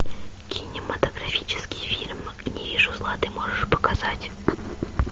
кинематографический фильм не вижу зла ты можешь показать